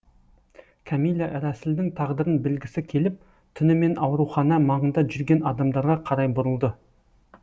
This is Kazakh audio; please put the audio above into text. кәмилә рәсілдің тағдырын білгісі келіп түнімен аурухана маңында жүрген адамдарға қарай бұрылды